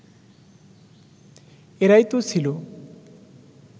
এরাই তো ছিল